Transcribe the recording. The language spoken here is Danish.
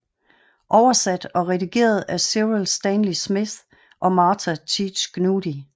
Over sat og redigeret af Cyril Stanley Smith og Martha Teach Gnudi